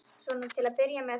Svona til að byrja með.